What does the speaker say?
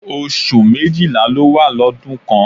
Oṣù méjìlá ló wà lọ́dún kan